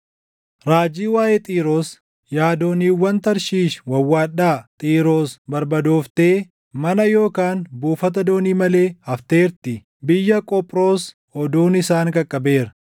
Raajii waaʼee Xiiroos: Yaa dooniiwwan Tarshiishi wawwaadhaa! Xiiroos barbadooftee mana yookaan buufata doonii malee hafteertii. Biyya Qophroos oduun isaan qaqqabeera.